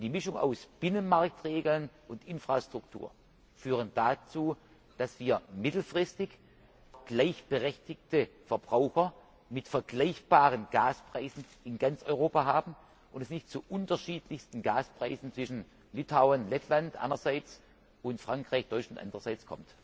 Die Mischung aus Binnenmarktregeln und Infrastruktur führt dazu, dass wir mittelfristig auch gleichberechtigte Verbraucher und vergleichbare Gaspreise in ganz Europa haben und es nicht zu unterschiedlichsten Gaspreisen zwischen Litauen Lettland einerseits und Frankreich Deutschland andererseits kommt.